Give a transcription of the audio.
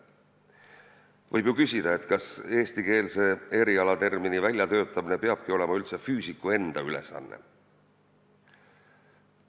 Võib ju küsida, kas eestikeelse erialatermini väljatöötamine üldse peab olema füüsiku enda ülesanne.